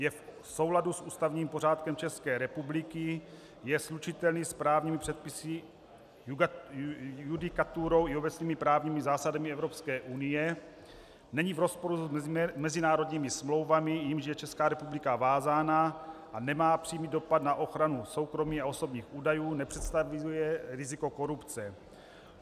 Je v souladu s ústavním pořádkem České republiky, je slučitelný s právními předpisy, judikaturou i obecnými právními zásadami Evropské unie, není v rozporu s mezinárodními smlouvami, jimiž je Česká republika vázána, a nemá přímý dopad na ochranu soukromí a osobních údajů, nepředstavuje riziko korupce.